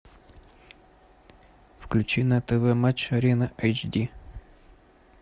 включи на тв матч арена эйч ди